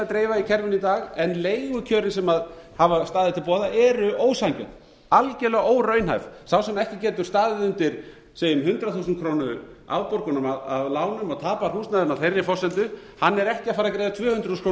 dreifa í kerfinu í dag en leigukjörin sem hafa staðið til boða eru ósanngjörn algjörlega óraunhæf sá sem ekki getur staðið undir segjum hundrað þúsund krónur afborgun af lánum og tapar húsnæðinu á þeirri forsendu hann er ekki að fara að greiða tvö hundruð þúsund